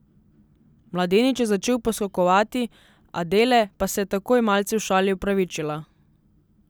Mladenič je začel poskakovati, Adele pa se je takoj malce v šali opravičila.